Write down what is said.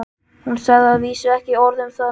Hún sagði að vísu ekki orð um það meir.